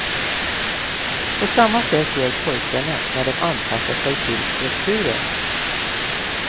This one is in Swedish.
På samma sätt gör pojkarna när de anpassar sig till strukturen.